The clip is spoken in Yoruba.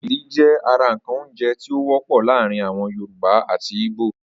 Ògìrì jẹ́ ara ǹkan oúnjẹ tí ó wọ́pọ̀ láàrin àwon yorùbá àti ìgbò